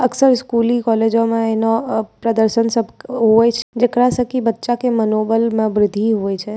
अक्सर स्कूलिंग कॉलेजवा एना प्रदर्शन सब होवे छै जेकरा से की बच्चा के मनोबल मे वृद्धि होइ छै।